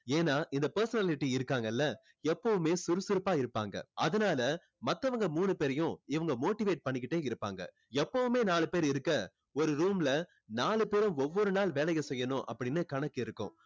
ஏன்னா இந்த personality இருக்காங்கல்ல எப்பவுமே சுறுசுறுப்பா இருப்பாங்க அதனால மத்தவங்க மூணு பேரையும் இவங்க motivate பண்ணிக்கிட்டே இருப்பாங்க எப்பவுமே நாலு பேர் இருக்க ஒரு room ல நாலு பேரும் ஒவ்வொரு நாள் வேலையை செய்யணும் அப்படின்னு கணக்கு இருக்கும்